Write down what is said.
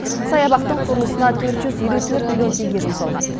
саябақтың құрылысына төрт жүз елу төрт миллион теңге жұмсалған